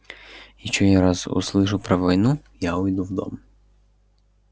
если я ещё раз услышу про войну я уйду в дом